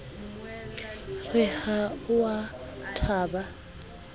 re ha o a thaba